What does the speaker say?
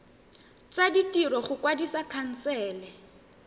tsa ditiro go kwadisa khansele